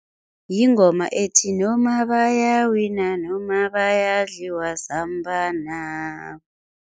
Yingoma ethi noma bayawina noma bayadliwa samba